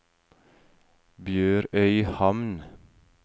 BjørØyhamn